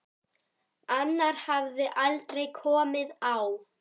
Annar hafði aldrei komið á